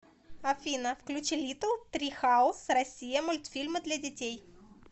афина включи литтл трихаус россия мультфильмы для детей